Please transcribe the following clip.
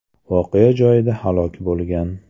voqea joyida halok bo‘lgan.